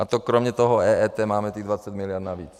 A to kromě toho EET máme těch 20 miliard navíc.